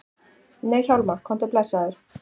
Nei Hjálmar, komdu blessaður!